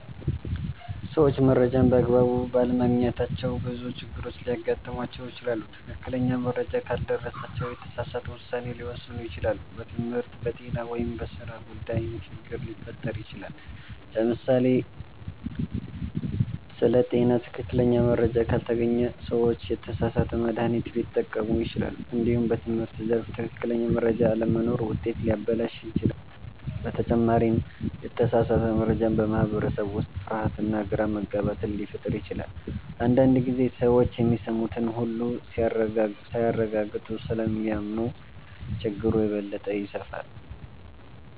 ሰዎች መረጃን በአግባቡ ባለማግኘታቸው ብዙ ችግሮች ሊያጋጥሟቸው ይችላሉ። ትክክለኛ መረጃ ካልደረሳቸው የተሳሳተ ውሳኔ ሊወስኑ ይችላሉ፣ በትምህርት፣ በጤና ወይም በሥራ ጉዳይም ችግር ሊፈጠር ይችላል። ለምሳሌ ስለ ጤና ትክክለኛ መረጃ ካልተገኘ ሰዎች የተሳሳተ መድሃኒት ሊጠቀሙ ይችላሉ። እንዲሁም በትምህርት ዘርፍ ትክክለኛ መረጃ አለመኖር ውጤትን ሊያበላሽ ይችላል። በተጨማሪም የተሳሳተ መረጃ በማህበረሰብ ውስጥ ፍርሃትና ግራ መጋባት ሊፈጥር ይችላል። አንዳንድ ጊዜ ሰዎች የሚሰሙትን ሁሉ ሳያረጋግጡ ስለሚያምኑ ችግሩ የበለጠ ይስፋፋል።